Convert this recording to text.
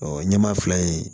Ɔ ɲɛmaa fila in